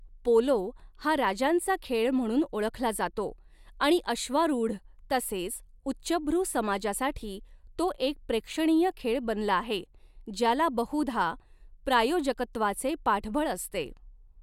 Polo हा 'राजांचा खेळ' म्हणून ओळखला जातो आणि अश्वारूढ तसेच उच्चभ्रू समाजासाठी तो एक प्रेक्षणीय खेळ बनला आहे, ज्याला बहुधा प्रायोजकत्वाचे पाठबळ असते.